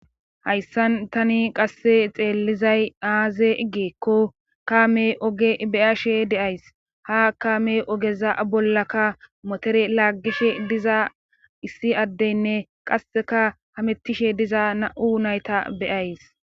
hayssan tani qasse xeellizay aaze iggeekko kaame oge beyashe deays ha kaame ogeza bollaka motere laaggishe diza issi addeynne qasseka hamettishe diza na7u nayta beyays